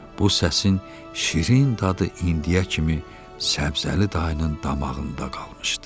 Bu səsin şirin dadı indiyə kimi Səbzəli dayının damağında qalmışdı.